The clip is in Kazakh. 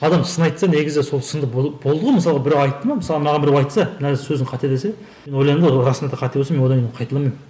адам сын айтса негізі сол сын болды ғой мысалға біреу айтты ма мысалы маған біреу айтса мына сөзің қате десе мен ойланып расында да қате болса мен одан кейін оны қайталамаймын